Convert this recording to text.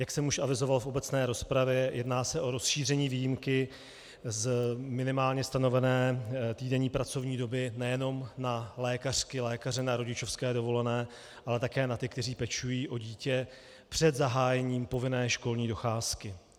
Jak jsem už avizoval v obecné rozpravě, jedná se o rozšíření výjimky z minimálně stanovené týdenní pracovní doby nejenom na lékařky, lékaře na rodičovské dovolené, ale také na ty, kteří pečují o dítě před zahájením povinné školní docházky.